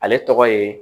Ale tɔgɔ ye